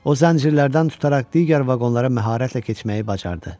O zəncirlərdən tutaraq digər vaqonlara məharətlə keçməyi bacardı.